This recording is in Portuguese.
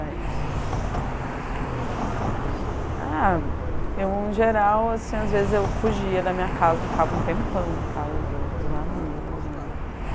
o que eles faziam para por você. Ah, eu em geral, as vezes eu fugia da minha casa, ficava um tempão na casa do dos amigos.